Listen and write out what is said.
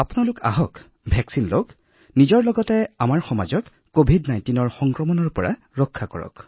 ইয়াৰ দ্বাৰা নিজেও সুৰক্ষিত হৈ থকাৰ লগতে আমাৰ সমাজখনো কভিড১৯ৰ আক্ৰমণৰ পৰা সুৰক্ষিত হৈ পৰিব